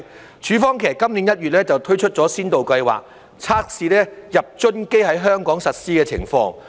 其實，署方於今年1月推出了先導計劃，測試入樽機在香港實施的情況。